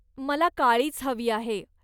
मला काळीच हवी आहे.